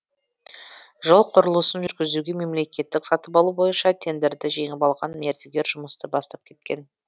жол құрылысын жүргізуге мемлекеттік сатып алу бойынша тендерді жеңіп алған мердігер жұмысты бастап кеткен